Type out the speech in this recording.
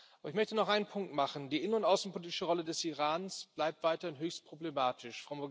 Aber ich möchte noch einen Punkt machen Die innen und außenpolitische Rolle des Irans bleibt weiter höchst problematisch.